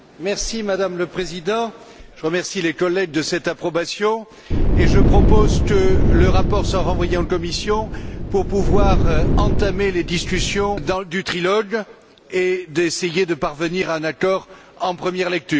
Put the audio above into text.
Madame la Présidente, je remercie les collègues de cette approbation et je propose que le rapport soit renvoyé en commission pour pouvoir entamer les discussions du trilogue et essayer de parvenir à un accord en première lecture.